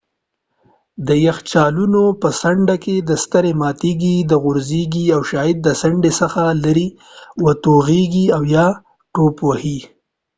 د یخچالونو په څنډه کې سترې ماتیږي غورځیږي او شاید د څنډې څخه لیرې وتوغیږي او یا ټوپ ووهي